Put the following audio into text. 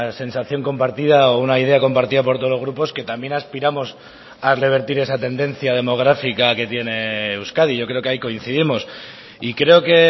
sensación compartida o una idea compartida por todos los grupos que también aspiramos a revertir esa tendencia demográfica que tiene euskadi yo creo que ahí coincidimos y creo que